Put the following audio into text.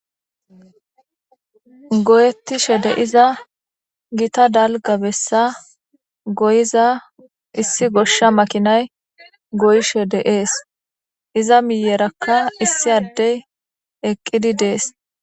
Goyetishe de'iza gitta dalga besa goyiza issi gosha makina goyishe de'es izza miyeraka issi Adey eqidi des